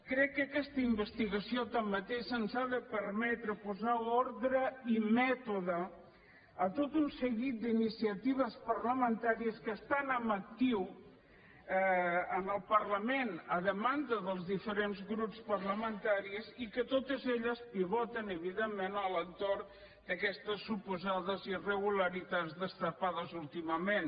crec que aquesta investigació tanmateix ens ha de permetre posar ordre i mètode a tot un seguit d’iniciatives parlamentàries que estan en actiu en el parlament a demanda dels diferents grups parlamentaris i que totes elles pivoten evidentment a l’entorn d’aquestes suposades irregularitats destapades últimament